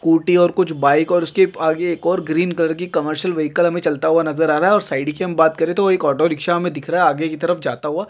Scooty और कुछ bike और उसके आगे एक और ग्रीन कलर की कॉममर्शियल वेहिकल हमे चलता हुआ नजर आ रहा है और साइड की हम बात करे तो एक ऑटो रिक्सा हमे दिख रहा है आगे की तरफ जाता हुआ।